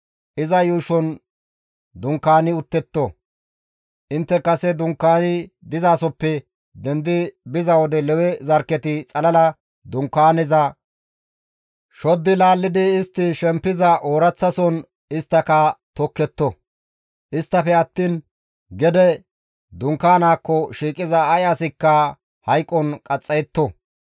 Intte kase dunkaani dizasoppe dendi biza wode Lewe zarkketi xalala Dunkaaneza shoddi laallidi istti shempiza ooraththason isttaka tokketto; isttafe attiin dunkaanaakko shiiqiza ay asikka hayqon qaxxayetto.